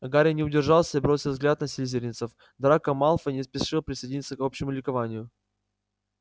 гарри не удержался и бросил взгляд на слизеринцев драко малфой не спешил присоединиться к общему ликованию